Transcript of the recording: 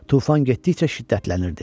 Tufan getdikcə şiddətlənirdi.